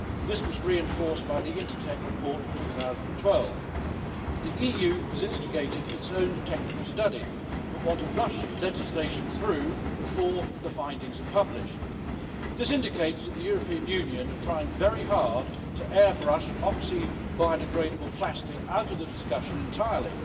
This was reinforced by the Intertek report of 2012. The EU has instigated its own technical study but want to rush legislation through before the findings are published. This indicates that the European Union are trying very hard to airbrush oxo biodegradable plastic out of the discussion entirely.